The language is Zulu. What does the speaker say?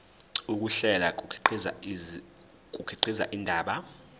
ukuhlela kukhiqiza indaba